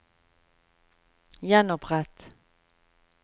gjenopprett